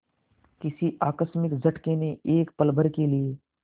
किसी आकस्मिक झटके ने एक पलभर के लिए